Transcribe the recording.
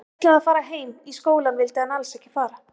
Hann ætlaði að fara heim, í skólann vildi hann alls ekki fara.